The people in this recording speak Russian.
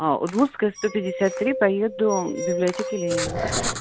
удмуртская сто пятьдесят три поеду библиотеки ленина